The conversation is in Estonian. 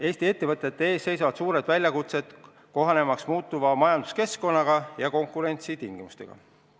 Eesti ettevõtete ees seisavad suured väljakutsed, kohanemaks muutuva majanduskeskkonnaga ja uudsete konkurentsitingimustega.